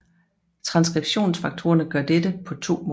Transskriptionsfaktorerne gør dette på to måder